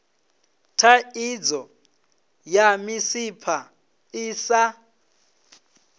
thaidzo ya misipha i sa